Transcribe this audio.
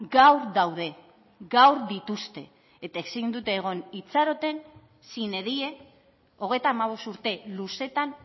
gaur daude gaur dituzte eta ezin dute egon itxaroten sine die hogeita hamabost urte luzetan